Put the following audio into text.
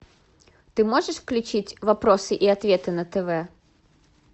ты можешь включить вопросы и ответы на тв